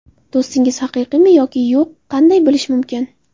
Do‘stingiz haqiqiymi yoki yo‘q qanday bilish mumkin?